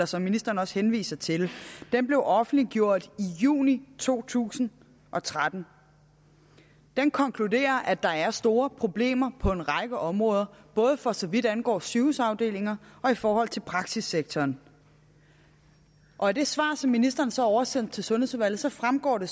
som ministeren også henviser til blev offentliggjort i juni to tusind og tretten den konkluderer at der er store problemer på en række områder både for så vidt angår sygehusafdelinger og i forhold til praksissektoren og af det svar som ministeren så oversendte til sundhedsudvalget fremgår det